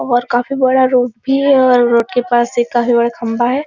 और काफी बड़ा रोड भी है और रोड के पास एक काफी बड़ा खम्बा है ।